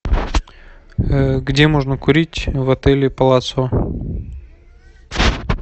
где можно курить в отеле палацио